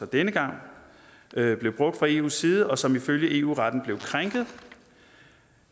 denne gang blev brugt fra eus side og som ifølge eu retten blev krænket